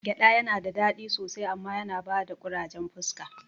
Gyaɗa nada dadi sosai amma yana bada ƙurajen fuska